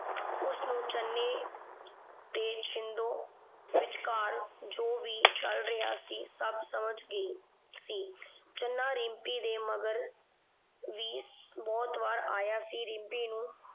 ਉਸਨੂੰ ਚੰਨੇ ਤੇ ਛਿੰਦੋ ਵਿਚਕਾਰ ਜੋ ਵੀ ਚੱਲ ਰਿਹਾ ਸੀ ਸਭ ਸਮਝ ਗਈ ਸੀ। ਚੰਨਾ ਰਿੰਪੀ ਦੇ ਮਗਰ ਵੀ ਬਹੁਤ ਵਾਰ ਆਇਆ ਸੀ। ਰਿੰਪੀ ਨੂੰ